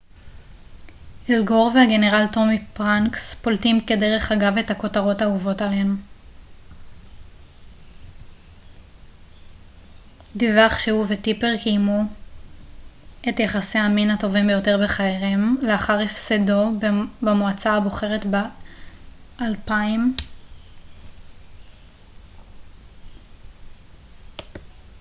אל גור והגנרל טומי פרנקס פולטים כדרך אגב את הכותרות האהובות עליהם של גור היתה כאשר the onion דיווח שהוא וטיפר קיימו את יחסי המין הטובים ביותר בחייהם לאחר הפסדו במועצה הבוחרת ב-2000